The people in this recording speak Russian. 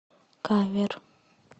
кавер